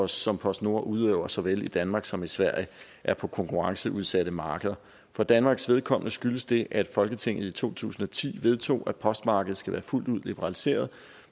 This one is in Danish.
som postnord udøver såvel i danmark som i sverige er på konkurrenceudsatte markeder for danmarks vedkommende skyldes det at folketinget i to tusind og ti vedtog at postmarkedet skulle være fuldt ud liberaliseret